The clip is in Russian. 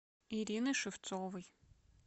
ирины шевцовой